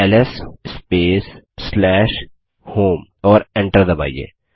LS space home और enter दबाइए